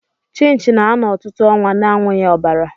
Chinchi na-ano ọtụtụ ọnwa na-anwughi ọbara.